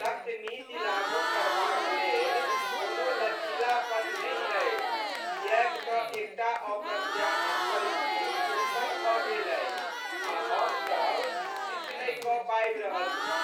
सख्त नीति लागू करबाक लेल कोनो लचीलापन नहि अछि, किएक तँ एकटा अप्रत्याशित परिस्थिति उत्पन्न भऽ गेल अछि आ हमसब किछु नहि कऽ पाबि रहल छी।